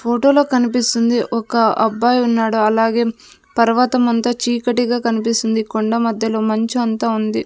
ఫోటోలో కనిపిస్తుంది ఒక అబ్బాయి ఉన్నాడు అలాగే తర్వాత మంతా చీకటిగా కనిపిస్తుంది కొండ మధ్యలో మంచు అంత ఉంది.